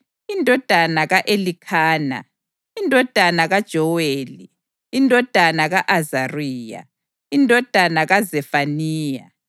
indodana ka-Elikhana, indodana kaJoweli, indodana ka-Azariya, indodana kaZefaniya